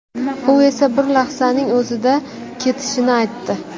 U esa bir lahzaning o‘zida ketishini aytdi.